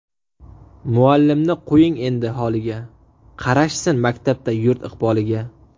Muallimni qo‘ying endi holiga, Qarashsin maktabda yurt iqboliga...